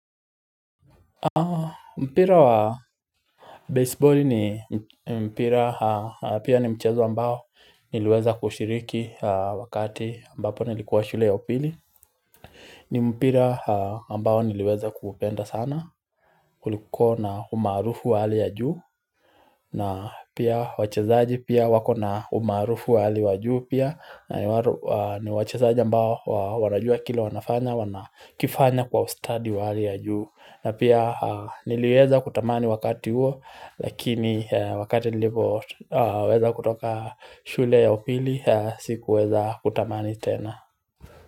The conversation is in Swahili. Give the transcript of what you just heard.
Mpira wa baseball ni mpira pia ni mchezo ambao niliweza kushiriki wakati ambapo nilikuwa shule ya upili ni mpira ambao niliweza kuupenda sana kulikuwa na umaarufu wa hali ya juu na pia wachezaji pia wako na umaarufu wa hali ya juu pia na ni wachezaji ambao wanajua kila wanafanya wana kifanya kwa ustadi wa hali ya juu na pia niliweza kutamani wakati huo lakini wakati nilipo weza kutoka shule ya upili sikuweza kutamani tena.